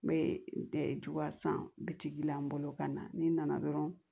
N bɛ dugawu san bitigi la n bolo ka na ni n nana dɔrɔn